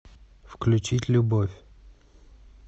включить любовь